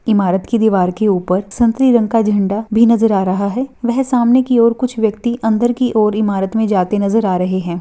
इमारत की दीवार की ऊपर संतरी रंग का झंडा भी नजर आ रहा है वही सामने की और कुछ व्यक्ति अंदर की और इमारत मे जाते नजर आ रहे है।